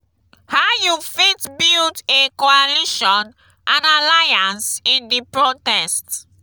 how you fit build a coalition and alliance in di protest?